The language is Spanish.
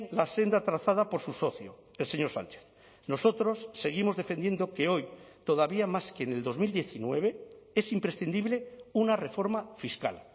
la senda trazada por su socio el señor sánchez nosotros seguimos defendiendo que hoy todavía más que en el dos mil diecinueve es imprescindible una reforma fiscal